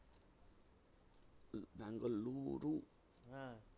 হ্যাঁ।